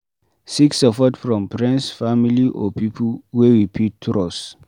Seek support from friends, family or pipo wey we fit trust